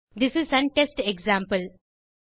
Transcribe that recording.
this is an test example